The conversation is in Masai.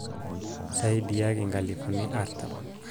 saidiaki nkalufuni artam